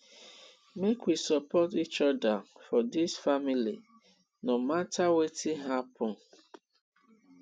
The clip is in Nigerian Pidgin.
make we support each oda for dis family no mata wetin happen